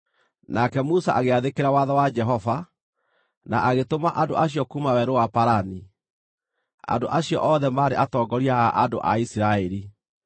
Nake Musa agĩathĩkĩra watho wa Jehova, na agĩtũma andũ acio kuuma Werũ wa Parani. Andũ acio othe maarĩ atongoria a andũ a Isiraeli.